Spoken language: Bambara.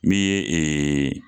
Min ye ee